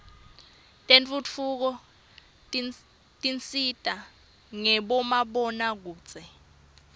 tentfutfuko tisita ngabomabonakudze